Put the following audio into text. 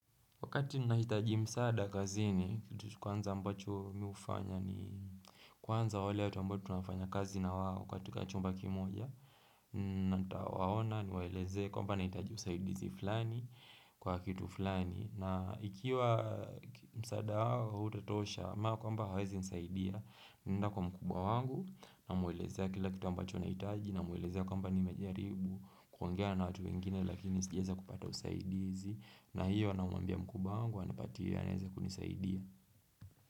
Wakati nahitaji msada kazini kitu kwanza ambacho mi ufanya ni kwanza wale watu ambao tunafanya kazi na katika chumba kimoja na nitawaona niwaeleze kwamba nahitaji usaidizi fulani kwa kitu fulani na ikiwa msada wao hautatosha mara kwamba hawezi nisaidia naenda kwa mkubwa wangu namwelezea kila kitu ambacho nahitaji namwelezea kwamba nimejaribu kuongea na watu wengine lakini sijaeza kupata usaidizi na hiyo namwambia mkubwa wangu anipatie anaeza kunisaidia.